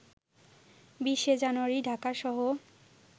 ২০শে জানুয়ারি ঢাকাসহ